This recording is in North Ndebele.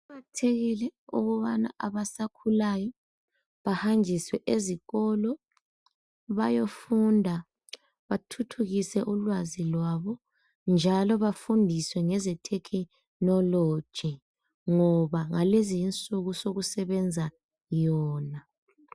Kuqakathekile ukubana abasakhulayo bahanjiswe ezikolo bayofunda bathuthukise ulwazi lwabo njalo bafundiswe ngezethekhinoloji ngoba ngalezinsuku sokusebenza yona.